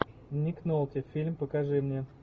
ник нолти фильм покажи мне